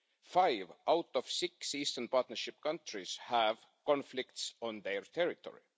Five out of six Eastern Partnership countries have conflicts on their territory.